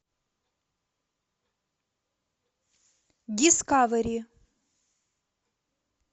дискавери